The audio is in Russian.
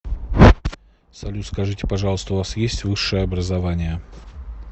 салют скажите пожалуйста у вас есть высшее образование